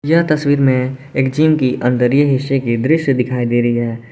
यह तस्वीर में एक जिम की अंदरिय हिस्से की दृश्य दिखाई दे रही है।